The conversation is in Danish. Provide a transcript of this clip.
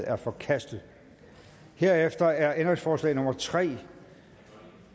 er forkastet herefter er ændringsforslag nummer tre